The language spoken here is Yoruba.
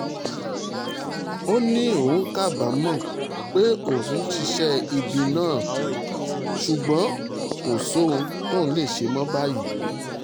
ó ní òun kábàámọ̀ kábàámọ̀ pé òun ṣiṣẹ́ ibi náà ṣùgbọ́n kò sóhun tóun lè ṣe mọ́ báyìí